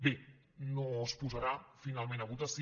bé no es posarà finalment a votació